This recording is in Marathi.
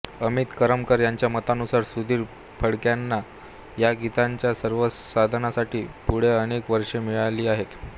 अमित करमरकर यांच्या मतानुसार सुधीर फडक्यांना या गीतांच्या संवर्धनासाठी पुढे अनेक वर्षे मिळाली आहेत